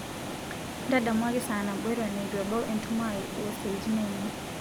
ntadamuaki saa nabo eton eitu ebau entumo aai osiaitin aainei